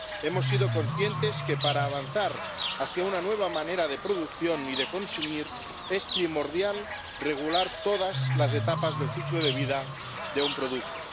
Hemos sido conscientes de que, para avanzar hacia una nueva manera de producción y de consumir, es primordial regular todas las etapas del ciclo de vida de un producto.